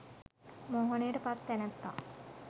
මෝහනයට පත් තැනැත්තා